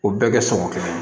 O bɛɛ kɛ sɔngɔ kɛra